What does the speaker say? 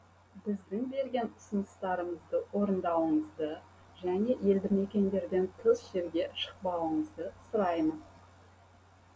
біздің берген ұсыныстарымызды орындауыңызды және елді мекендерден тыс жерге шықпауыңызды сұраймыз